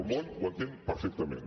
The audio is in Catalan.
el món ho entén perfectament